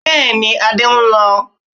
Bẹ́ẹ̀ni, Adé ń lọ